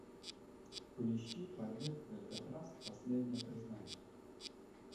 поищи побег из алькатраса последнее признание